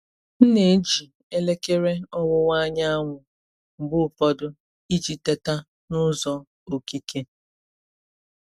M na-eji elekere ọwụwa anyanwụ mgbe ụfọdụ iji teta n’ụzọ okike.